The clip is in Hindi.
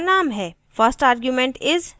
1st argument is: sunday